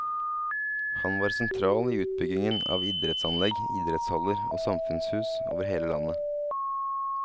Han var sentral i utbyggingen av idrettsanlegg, idrettshaller og samfunnshus over hele landet.